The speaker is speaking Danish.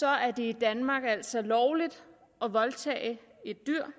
er det i danmark altså lovligt at voldtage et dyr